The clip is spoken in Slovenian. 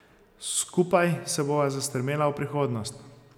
Skupaj se bova zastrmela v prihodnost.